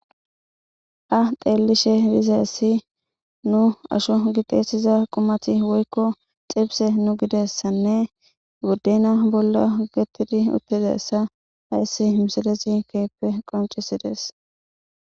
A deellishe bizassi nu asho gixeesiza qumati woykko xibse nu gidessanne guddena bolla ogettidi uttidessa hayssi misalesi keyppe qoncisides